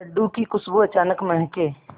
लड्डू की खुशबू अचानक महके